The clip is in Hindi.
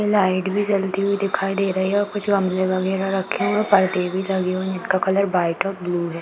लाइट भी जलती हुई दिखाई दे रही है और कुछ गमले वगैरा रखे हुए है। पर्दे भी लगे हुए हैं। इनका कलर व्हाइट और ब्लू है।